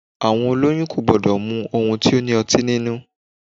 Àwọn olóyún ò gbọdọ̀ mu ohun tó ní ọtí nínú.